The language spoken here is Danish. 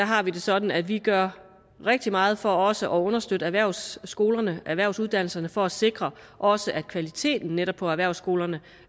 har det sådan at vi gør rigtig meget for også at understøtte erhvervsskolerne erhvervsuddannelserne for at sikre også kvaliteten netop på erhvervsskolerne